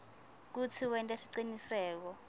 kutsi wente siciniseko